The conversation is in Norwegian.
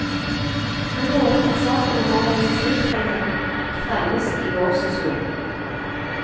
Han lovet at saken om organisasjonsfrihet fremmes i vårsesjonen.